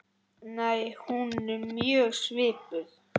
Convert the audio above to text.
Nei, hún er mjög svipuð.